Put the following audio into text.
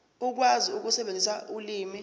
ukwazi ukusebenzisa ulimi